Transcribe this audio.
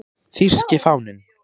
Þýski fáninn